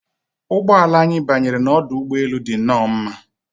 Ụgbọ ala anyị banyere n'ọdụ ụgbọ elu dị nnọọ mma